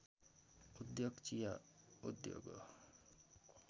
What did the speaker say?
उद्योग चिया उद्योग हो